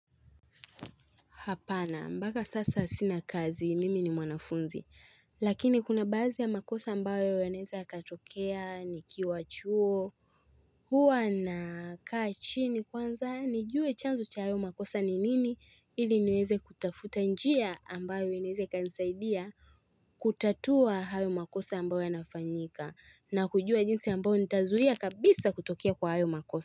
Hapana mpaka sasa sina kazi mimi ni mwanafunzi lakini kuna baadhi ya makosa ambayo yanaeza yakatokea nikiwa chuo. Huwa nakaa chini kwanza nijue chanzo cha hayo makosa ni nini ili niweze kutafuta njia ambayo inaeza ikanisaidia kutatua hayo makosa ambayo yanafanyika na kujua jinsi ambayo nitazuia kabisa kutokea kwa hayo makosa.